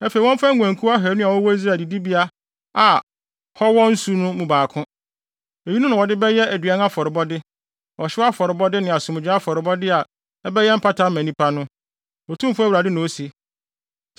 Afei wɔmfa nguankuw ahannu a wɔwɔ Israel adidibea a hɔ wɔ nsu no mu baako. Eyinom na wɔde bɛyɛ aduan afɔrebɔde, ɔhyew afɔrebɔde ne asomdwoe afɔrebɔde a ɛbɛyɛ mpata ama nnipa no, Otumfo Awurade na ose.